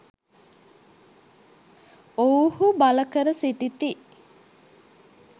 ඔවුහු බල කර සිටිති